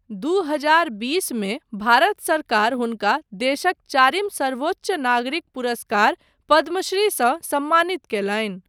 दू हजार बीस मे भारत सरकार हुनका देशक चारिम सर्वोच्च नागरिक पुरस्कार पद्मश्रीसँ सम्मानित कयलनि।